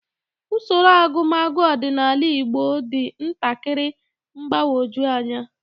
Usoro agụmagụ ọdịnala Igbo dị ntakịrị mgbagwoju anya